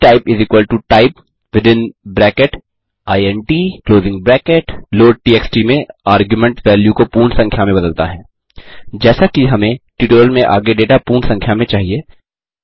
dtypetype within bracket int loadtxt में argument value को पूर्ण संख्या में बदलता है जैसा कि हमें ट्यूटोरियल में आगे डेटा पूर्ण संख्या में चाहिए